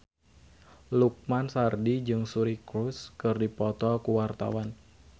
Lukman Sardi jeung Suri Cruise keur dipoto ku wartawan